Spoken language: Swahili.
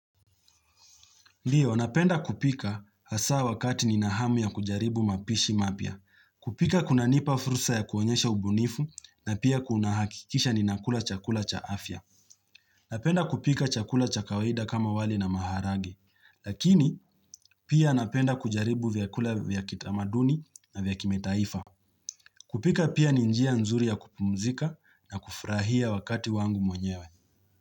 Ndiyo, napenda kupika hasa wakati ninahamu ya kujaribu mapishi mapya. Kupika kuna nipa fursa ya kuonyesha ubunifu na pia kunahakikisha ninakula chakula cha afya. Napenda kupika chakula cha kawaida kama wali na maharage. Lakini, pia napenda kujaribu vyakula vyakita maduni na vyakime taifa. Kupika pia ninjia nzuri ya kupumzika na kufurahia wakati wangu mwenyewe.